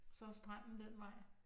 Så er stranden den vej